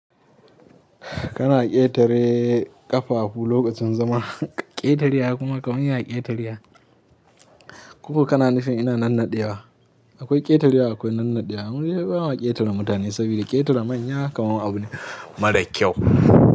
Kana ƙetare ƙafafu lokacin zama. Ƙetarewa kuma kamun ya ƙetarewa. Ko kana nufin ina nannaɗewa. Akwai ƙetarewa akwai nannaɗewa. Mudai bama ƙetare mutane saboda ƙetare manya kamar abu ne mara kyau.